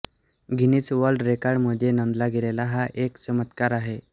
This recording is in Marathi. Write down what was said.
गिनीस वर्ल्ड रेकॉर्ड मध्ये नोंदला गेलेला हा एक चमत्कार आहे